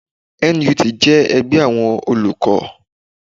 NUT jẹ́ ẹgbẹ́ àwọn Olùkọ́